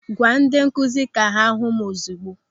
Gwa ndị nkụzi ka ha hụ m ozigbo!